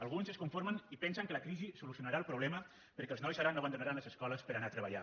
alguns es conformen i pensen que la crisi solucionarà el problema perquè els nois ara no abandonaran les escoles per anar a treballar